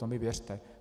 To mi věřte.